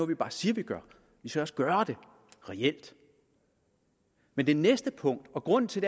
vi bare siger at vi gør vi skal også gøre det reelt men det næste punkt og grunden til